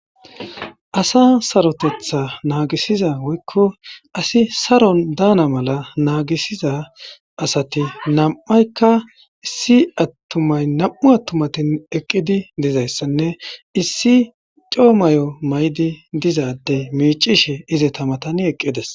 Asa saaroteththa nagisiza woykko asi saaron daana mala nagisiza asatti nam'iaykka nam'u attumatti eqidi dizayssanne issi coo mayo mayidi miccishe izetta mattan eqides